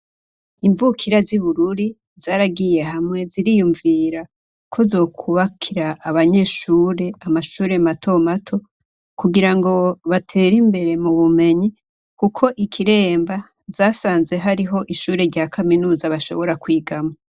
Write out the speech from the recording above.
Imvukira z'i bururi zaragiye hamwe ziriyumvira ko zokubakira abanyeshure amashure matomato kugira ngo batere imbere mu bumenyi, kuko ikiremba zasanze hariho ishure rya kaminuza bashobora kwigamwa.